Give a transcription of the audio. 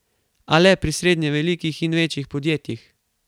A le pri srednje velikih in večjih podjetjih.